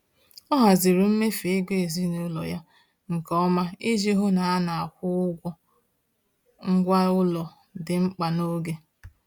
Ọ haziri mmefu ego ezinụlọ ya nke ọma iji hụ na a na-akwụ ụgwọ ngwa ụlọ dị mkpa n’oge.